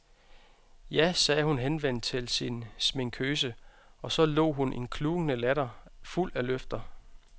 Ja, sagde hun henvendt til sin sminkøse, og så lo hun en klukkende latter fuld af løfter.